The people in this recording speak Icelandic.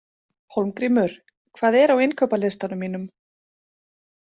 Hólmgrímur, hvað er á innkaupalistanum mínum?